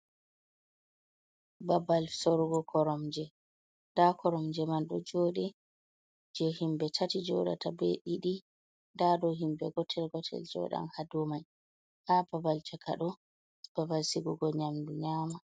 Babal sorugo koromje nda koromje man ɗo joɗi je himɓe tati joɗata, be didi, nda ɗo himɓe gotel gotel jodan ha dumai. Ha babal chakaɗo babal sigugo nyamdu nyama.